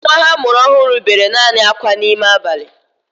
Nwa ha a mụrụ ọhụrụ bere naanị akwa n'ime abalị